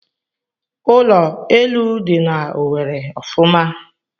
Ụlọ elu dị na Owerri ofuma.